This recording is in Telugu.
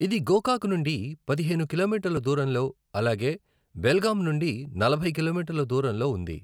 ఇది గోకాక్ నుండి పదిహేను కిలోమీటర్ల దూరంలో, అలాగే బెల్గాం నుండినలభై కిలోమీటర్ల దూరంలో ఉంది.